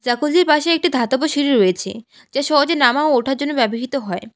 পাশে একটি ধাতব সিঁড়ি রয়েছে যা সহজে নামা ও ওঠার জন্য ব্যবহৃত হয়।